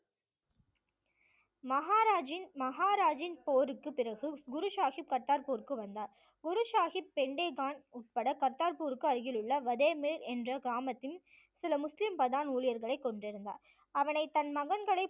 மகாராஜின் மகாராஜின் போருக்குப் பிறகு குரு சாஹிப் கர்த்தார்பூருக்கு வந்தார் குரு சாஹிப் பெண்டே கான் உட்பட கர்த்தார்பூருக்கு அருகிலுள்ள வதேமேர் என்ற கிராமத்தின் சில முஸ்லிம் பதான் ஊழியர்களை கொண்டிருந்தார் அவனை தன் மகன்களை